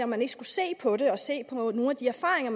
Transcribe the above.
man ikke skulle se på det og se på nogle af de erfaringer